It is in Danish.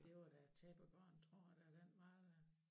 Det var da tæppebaren tror jeg da den var der